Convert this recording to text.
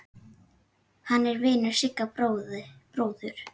Hann er vinur Sigga bróður.